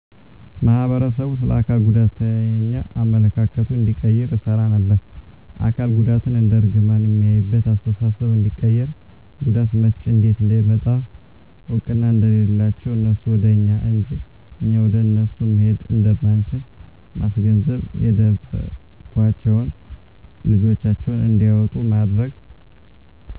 ማህበረሰቡ ስለ አካል ጉዳተኛ አመለካከቱን እንዲቀይር እሰራ ነበር። አካል ጉዳትን እንደ እርግማን ሚያይበትን አስተሳሰብ እንዲቀይር ጉዳት መቸ እንዴት እንደሚመጣ እውቅና እንደሌላቸው እነሱ ወደ እኛ እንጅ እኛ ወደ እነሱ መሄድ እንደማንችል ማስገንዘብ የደበቋቸውን ልጆቻቸውን እንዲያወጡ ማድረግ።